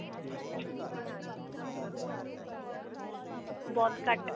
ਬਹੁਤ ਘੱਟ